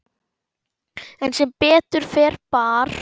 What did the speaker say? En sem betur fer bar